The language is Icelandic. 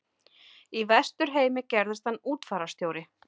Í Vesturheimi gerðist hann útfararstjóri.